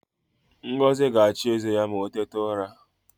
Ngozi ga-achụ eze ya ma o tete ụra